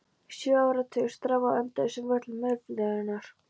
Sjö áratugir: strá á endalausum völlum eilífðarinnar.